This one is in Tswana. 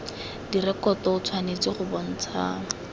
direkoto o tshwanetse go bontsha